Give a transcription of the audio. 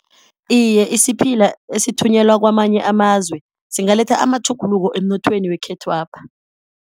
Iye, isiphila esithunyelwa kwamanye amazwe singaletha amatjhuguluko emnothweni wekhethwapha.